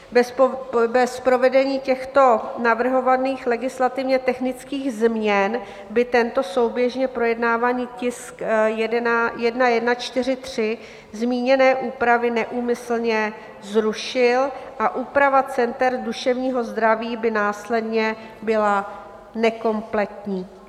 Bez provedení těchto navrhovaných legislativně technických změn by tento souběžně projednávaný tisk 1143 zmíněné úpravy neúmyslně zrušil a úprava center duševního zdraví by následně byla nekompletní.